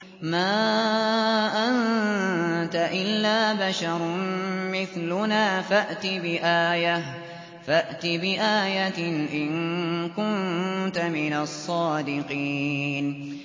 مَا أَنتَ إِلَّا بَشَرٌ مِّثْلُنَا فَأْتِ بِآيَةٍ إِن كُنتَ مِنَ الصَّادِقِينَ